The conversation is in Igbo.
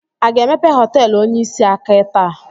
Aga emepe họteelụ onyeisi aka taa?